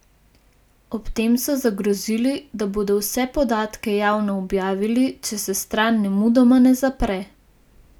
Ob tem so zagrozili, da bodo vse podatke javno objavili, če se stran nemudoma ne zapre.